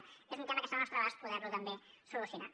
aquest és un tema que està al nostre abast poder lo també solucionar